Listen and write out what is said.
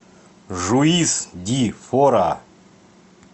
жуис ди фора